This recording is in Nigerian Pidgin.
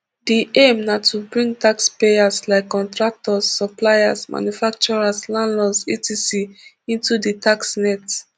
di aim na to bring taxpayers like contractors suppliers manufacturers landlords etc into di tax net